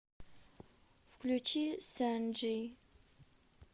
включи санджи